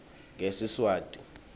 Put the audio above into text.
ngesiswati